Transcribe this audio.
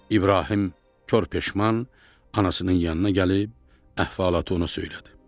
İbrahim kor peşman anasının yanına gəlib əhvalatı ona söylədi.